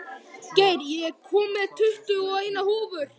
Geir, ég kom með tuttugu og eina húfur!